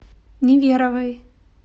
неверовой